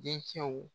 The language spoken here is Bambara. Dencɛw